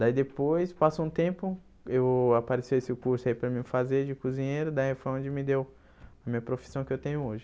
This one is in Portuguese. Daí depois, passou um tempo, eu apareceu esse curso aí para mim fazer de cozinheiro, daí foi onde me deu a minha profissão que eu tenho hoje.